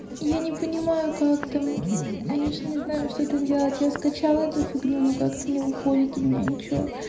я не понимаю как там я же не знаю что-то делать я скачала эту фигню но как-то не выходит у меня ничего